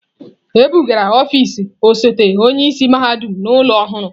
E bugara ọfịs osote onye isi mahadum n'ụlọ ọhụrụ.